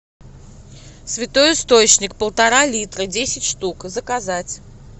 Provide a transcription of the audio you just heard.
святой источник полтора литра десять штук заказать